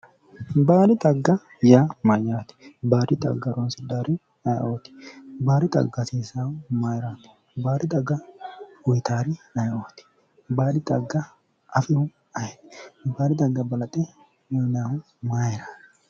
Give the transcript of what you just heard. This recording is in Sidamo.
baadi xagga yaa mayyate baadi xagga horoonsidhawori ayeeooti baadi xagga hasiissawohu mayirati? baadi xagga uyitawori ayeeooti baadi xagga afihu ayeti? baadi xagga balanxe uyinayhu mayirati ?